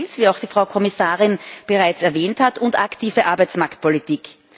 wie auch die Frau Kommissarin bereits erwähnt hat und aktive Arbeitsmarktpolitik.